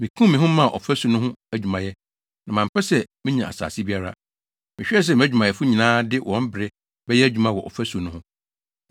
Mikum me ho maa ɔfasu no ho adwumayɛ, na mampɛ sɛ menya asase biara. Mehwɛɛ sɛ mʼadwumayɛfo nyinaa de wɔn bere bɛyɛ adwuma wɔ fasu no ho.